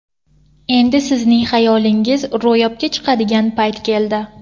Endi sizning xayolingiz ro‘yobga chiqadigan payt keldi.